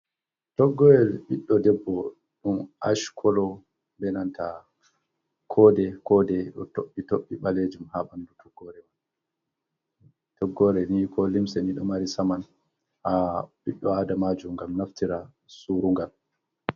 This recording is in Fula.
Toggoorel ɓiɗɗo debbo ɗum ash kolo, be nanta koode -koode ɗo toɓɓi toɓɓe ɓaleejum haa ɓanndu toggoore man. Toggoore ni koo limse nii ɗo mari saman haa ɓii aadamaajo, ngam naftira suurungal.